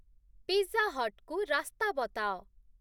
pizza ହଟ୍‌କୁ ରାସ୍ତା ବତାଅ